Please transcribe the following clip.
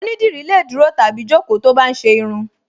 Onídìrí lè dúró tàbí jókòó tó bá ń ṣe irun